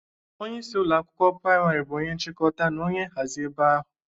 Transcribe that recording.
Onyeisi ụlọ akwụkwọ prịmarị bụ onye nchịkọta na onye nhazị ebe ahụ.